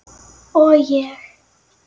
Og ég.